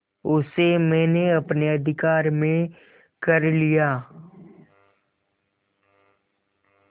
उसे मैंने अपने अधिकार में कर लिया